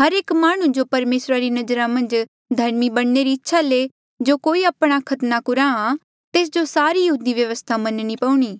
हर एक माह्णुं जो परमेसरा री नजरा मन्झ धर्मी बणने री इच्छा ले जो कोई आपणा खतना कुराहां तेस जो सारी यहूदी व्यवस्था मनणी पऊणी